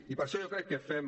i per això jo crec que fem